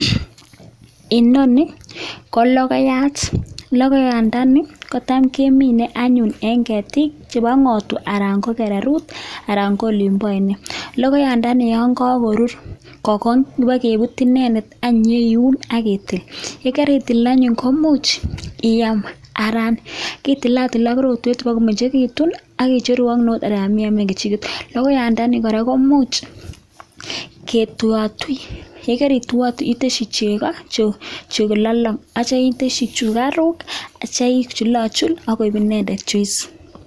Inoni ko logoyaat. Logoyaandani kotam kemine anyun en keetik chebo ng'otwaa anan ko kereruut anan ko olimboo oinet. Logoyandani yon kakorur, ko Kong ibokebuute inendet ak inyon iun ak itil, Yan karitil anyun koimuch iam anan itilatil ak rotwet bokomengekitun ak icheru ak neut alan iamen kechiket. Logoyandani kora koimuch ketuiatui, yekorituiatui itesyii chegoo chelolong ak yeityoo itesyii sugaruk ak ichulachul ak koik inendet Juice.